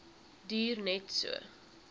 duur net so